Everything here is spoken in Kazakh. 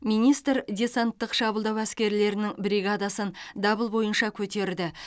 министр десанттық шабуылдау әскерлерінің бригадасын дабыл бойынша көтерді